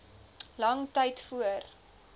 lang tyd voor